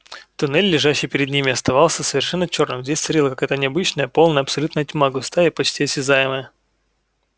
туннель лежащий перед ними оставался совершенно чёрным здесь царила какая-то необычная полная абсолютная тьма густая и почти осязаемая